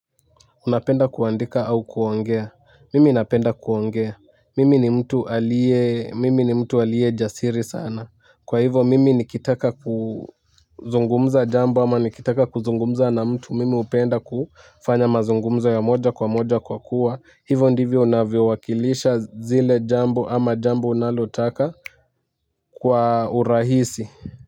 Unapenda kuandika au kuongea mimi napenda kuongea mimi ni mtu alie mimi ni mtu alie jasiri sana kwa hivyo mimi nikitaka kuzungumza jambo ama nikitaka kuzungumza na mtu mimi upenda kufanya mazungumza ya moja kwa moja kwa kuwa hivyo ndivyo unavyo wakilisha zile jambo ama jambo unalotaka kwa urahisi.